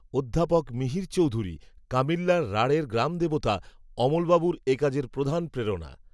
অধ্যাপক মিহির চৌধুরী, কামিল্যার, রাঢ়ের গ্রামদেবতা, অমলবাবুর, এ কাজের প্রধান প্রেরণা